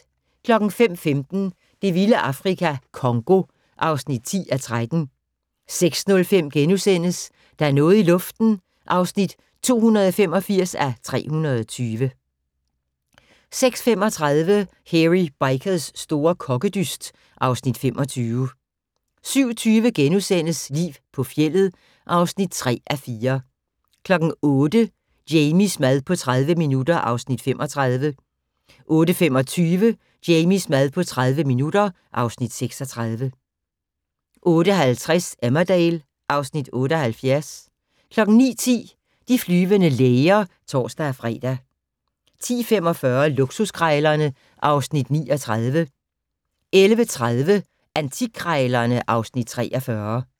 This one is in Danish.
05:15: Det vilde Afrika - Congo (10:13) 06:05: Der er noget i luften (285:320)* 06:35: Hairy Bikers' store kokkedyst (Afs. 25) 07:20: Liv på fjeldet (3:4)* 08:00: Jamies mad på 30 minutter (Afs. 35) 08:25: Jamies mad på 30 minutter (Afs. 36) 08:50: Emmerdale (Afs. 78) 09:10: De flyvende læger (tor-fre) 10:45: Luksuskrejlerne (Afs. 39) 11:30: Antikkrejlerne (Afs. 43)